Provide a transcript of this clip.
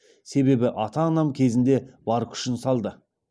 себебі ата анам кезінде бар күшін салды